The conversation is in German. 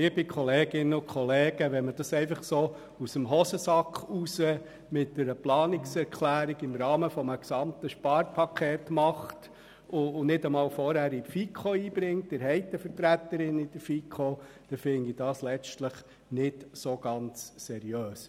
Dies einfach so aus dem Hosensack heraus mit einer Planungserklärung im Rahmen eines gesamten Sparpakets zu tun, ohne dies vorgängig in der FiKo eingebracht zu haben, finde ich letztlich nicht ganz seriös.